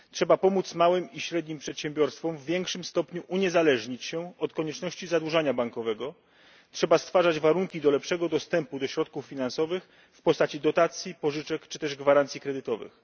Trzeba pomóc małym i średnim przedsiębiorstwom w większym stopniu uniezależnić się od konieczności zadłużania bankowego. Trzeba stwarzać warunki do lepszego dostępu do środków finansowych w postaci dotacji i pożyczek czy też gwarancji kredytowych.